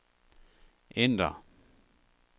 ændr